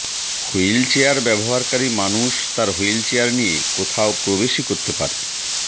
wheelchair ব্যবহারকারী মানুষ তার হুইলচেয়ার নিয়ে কোথাও প্রবেশই করতে পারে